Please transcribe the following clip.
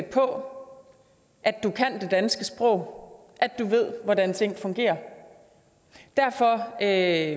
på at du kan det danske sprog at du ved hvordan ting fungerer derfor er